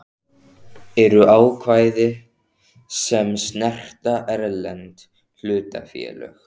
eru ákvæði sem snerta erlend hlutafélög.